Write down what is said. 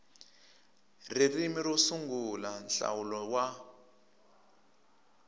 ririmi ro sungula nhlawulo wa